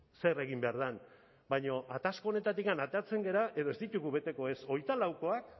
zer egin behar den baina atasko honetatik ateratzen gara edo ez ditugu beteko ez hogeita laukoak